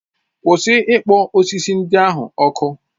Kwụsị ikpọ osisi ndị ahụ ọkụ.